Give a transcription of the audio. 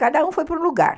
Cada um foi para um lugar.